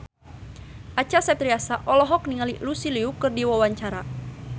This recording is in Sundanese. Acha Septriasa olohok ningali Lucy Liu keur diwawancara